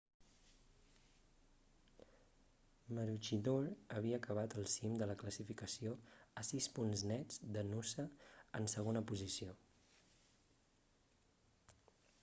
maroochydore havia acabat al cim de la classificació a sis punts nets de noosa en segona posició